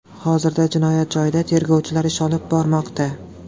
Hozirda jinoyat joyida tergovchilar ish olib bormoqda.